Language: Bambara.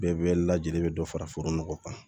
Bɛɛ bɛ lajɛlen bɛ dɔ fara foro nɔgɔ kan